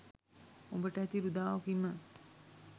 උඹට ඇති රුදාව කීම?